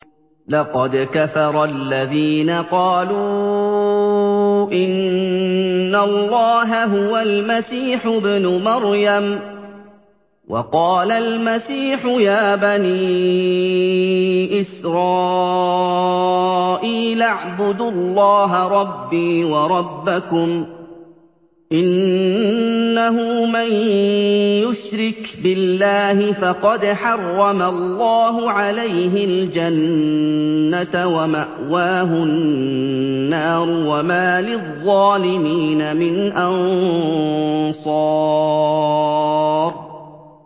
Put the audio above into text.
لَقَدْ كَفَرَ الَّذِينَ قَالُوا إِنَّ اللَّهَ هُوَ الْمَسِيحُ ابْنُ مَرْيَمَ ۖ وَقَالَ الْمَسِيحُ يَا بَنِي إِسْرَائِيلَ اعْبُدُوا اللَّهَ رَبِّي وَرَبَّكُمْ ۖ إِنَّهُ مَن يُشْرِكْ بِاللَّهِ فَقَدْ حَرَّمَ اللَّهُ عَلَيْهِ الْجَنَّةَ وَمَأْوَاهُ النَّارُ ۖ وَمَا لِلظَّالِمِينَ مِنْ أَنصَارٍ